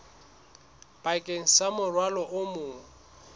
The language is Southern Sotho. bakeng sa morwalo o mong